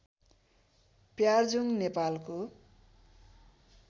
प्यार्जुङ नेपालको